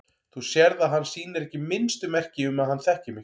Þú sérð að hann sýnir ekki minnstu merki um að hann þekki mig.